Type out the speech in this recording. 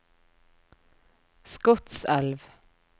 Skotselv